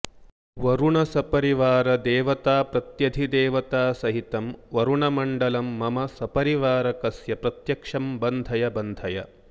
वरुण सपरिवार देवताप्रत्यधिदेवतासहितं वरुणमण्डलं मम सपरिवारकस्य प्रत्यक्षं बन्धय बन्धय